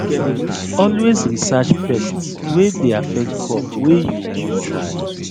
always research pests wy dey affect crop wey you won try